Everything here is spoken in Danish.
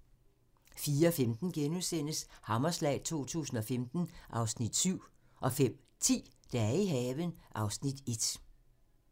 04:15: Hammerslag 2015 (Afs. 7)* 05:10: Dage i haven (Afs. 1)